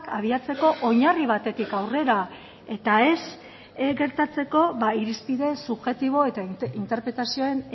abiatzeko oinarri batetik aurrera eta ez gertatzeko irizpide subjektibo eta interpretazioen